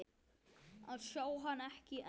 að sjá hann, ekki enn.